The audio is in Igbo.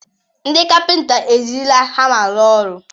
Ndị kapịnta ejirila hama rụọ ọrụ.